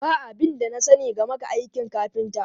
Ba abin da na sani game da aikin kafinta.